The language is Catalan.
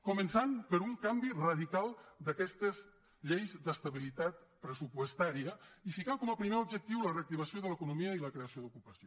començant per un canvi radical d’aquestes lleis d’estabilitat pressupostària i ficar com a primer objectiu la reactivació de l’economia i la creació d’ocupació